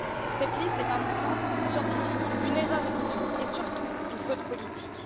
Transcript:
Cette liste est un non sens scientifique, une erreur économique et, surtout, une faute politique.